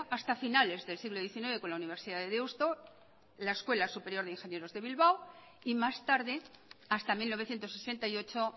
hasta finales del siglo diecinueve con la universidad de deusto la escuela superior de ingenieros de bilbao y más tarde hasta mil novecientos sesenta y ocho